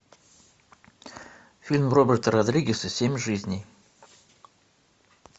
фильм роберта родригеса семь жизней